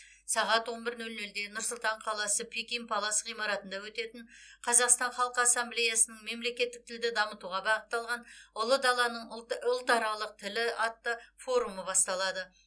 сағат он бір нөл нөлде нұр сұлтан қаласы пекин палас ғимаратында өтетін қазақстан халқы ассамблеясының мемлекеттік тілді дамытуға бағытталған ұлы даланың ұлты ұлтаралық тілі атты форумы басталады